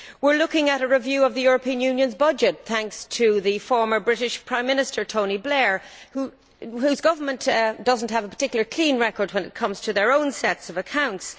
We are looking at a review of the European Union's budget thanks to the former British Prime Minister, Tony Blair, whose government does not have a particularly clean record when it comes to its own sets of accounts.